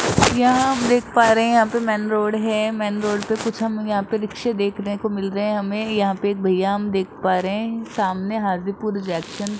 यहां हम देख पा रहे हैं यहां पे मेन रोड है मेन रोड पे कुछ हम यहां पे रिक्से देखने को मिल रहे हैं हमें यहां पे एक भैया हम देख पा रहे हैं सामने हाजीपुर जंक्शन --